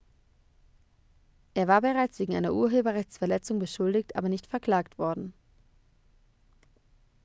er war bereits wegen einer urheberrechtsverletzung beschuldigt aber nicht verklagt worden